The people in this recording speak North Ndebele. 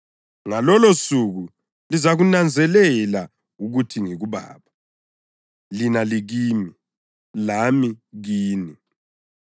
Ngalolosuku lizakunanzelela ukuthi ngikuBaba, lina likimi, lami ngikini.